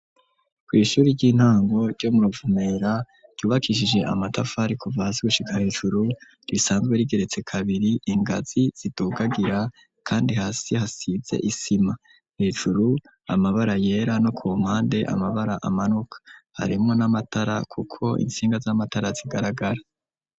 Kw'ishuri ry'intango ryo mu Ruvumera ryubakishije amatafari kuva hasi gushika hejuru, risanzwe rigeretse kabiri, ingazi zidugagira kandi hasi hasize isima. Hejuru amabara yera no ku mpande, amabara amanuka,. Harimwo n'amatara kuko intsinga z'amatara zigaragara.